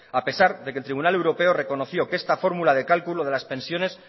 a pesar de que el tribunal europeo reconoció que esta fórmula de cálculo de las pensiones